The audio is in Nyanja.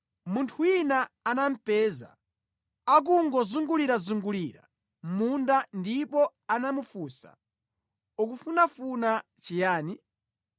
munthu wina anamupeza akungozungulirazungulira mʼmunda ndipo anamufunsa, “Ukufunafuna chiyani?”